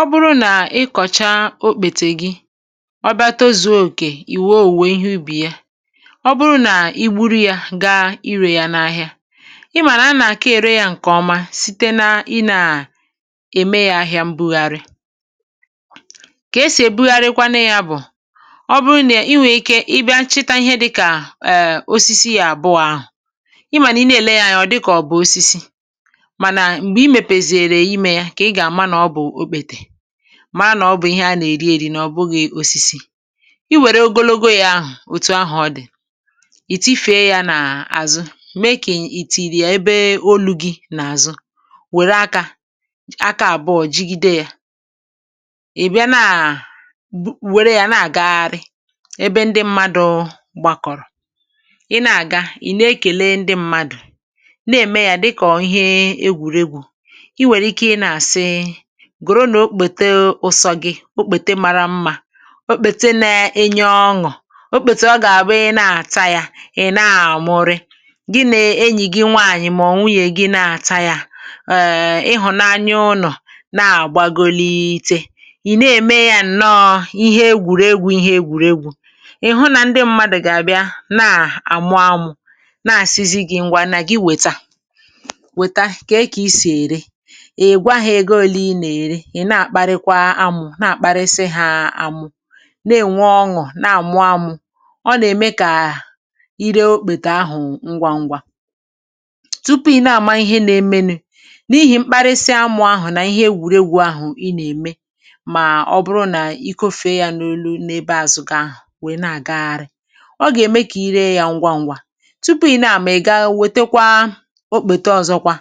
Ọ bụrụ nà ị kọ̀chaa okpètè gị, ọ bịa tozuo òkè, ị wèe òwùwè ihe ubì ya. Ọ bụrụ nà i gburu ya, gaa irè ya n’ahịa; ị mà nà ha nà-àke ère ya ǹkèọma site n’inė à ème ya ahịȧ mbugharị. Kà esì ebugharịkwanụ ya bụ̀: ọ bụrụ nà i nwèrè ike ị bịa nchịta ihe dịkà ee, osisi à bụ̀ ahụ̀ ị mànà ị na-èle ya ọ dịkà ọ̀bụ̀ osisi, màa nà mgbe I mepe siere ime yà, kà i gama n'obu okpete; mara na ọ bụ̀ ihe a nà-èri eri, n’ọ̀ bụghị̇ osisi. Ị wère ogologo ya ȧhụ̀, òtù ahụ̀ ọ dị̀, ìtị fèe ya n’àzụ, mee kà ìtìrì ya ebe olu̇ gị̇ n’àzụ. Wère akȧ, aka àbụọ jigide ya, ị̀ bịa na wère ya na-àgagharị, ebe ndị mmadụ̇ gbakọ̀rọ̀. Ị na-àga, ị̀ na-ekele ndị mmadụ̀, na-ème ya dịkọ̀ ihe egwùregwù. I were ike nà asi, Gòro n’okpètè ụsọ gị̇; okpètè mara mmȧ, okpètè na-enye ọṅụ̀, okpètè ọ gà-àbụ ị na-àta ya, ị̀ na-àmụrị, gị nà-enyì gị nwaànyị̀ mà ọ̀ nwi ya, gị na-àta ya, ee, ị hụ̀nanya ụnọ̀ na-àgbagolite, ị̀ na-ème ya nọ ihe egwùrėgwu̇, ihe egwùrėgwu̇, ị̀ hụ nà ndị mmadụ̀ gà-àbịa, na-àmụ ọmụ̇, na-àsizi gị̇ ngwa, nà gị wèta, wèta kà e kà ị sì ère. Ị gwà ha ego ọ̀nē ị nèrè, i nà-àkparịkwa amụ̀, nà-àkparịsị hȧ amụ̀ na-ènwe ọṅụ̀, nà-àmụ amụ̀, ọ nà-ème kà i ree okpètè ahụ̀ ngwa ngwa. Tupu ị nà-àma ihe nà-emenu, n’ihì mkparịsị amụ̇ ahụ̀ nà ihe ewùregwu̇ ahụ̀ ị nà-ème mà ọ bụrụ nà i kọfè ya n’olu n’ebe azụ̀ gị, ahụ̀ wèe na-àgagharị, ọ gà-ème kà i ree ya ngwa ngwa. Tupu ị na-àmụ̀, i gaa wètekwa okpètè ọzọkwa,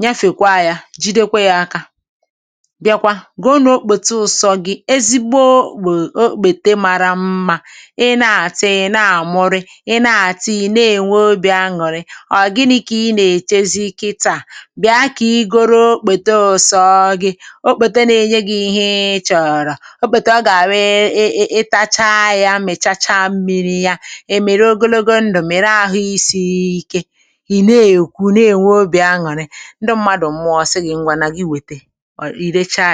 nyefe kwa ya ji, dekwe ya aka, bịakwa gị n’okpòtù ụsọ gị. Ezigbo ogbè um okpètemara mmȧ, ị na-àtị, ị na-àmụrị, ị na-àtị, ị na-ènwe obị̀ añụ̀rị, ọ̀r gị nà i kà ị nà-èchezi ike taa, bịa kà ị gụrụ okpèto ụsọ gị. Okpètè na-enye gị ihe ị chọ̀rọ̀, okpètè ọ gà-àbịị ị ị tacha ya mìchacha mmiri yà, e mere ogologo ndụ̀, mìre ahụ isiike, hì na-èkwu, na-ènwe obị̀ añụ̀rị. Ndị mmadụ̀ mmụọsị gị ngwa, nà gị wète, ọ̀r ị rechaẹ̀.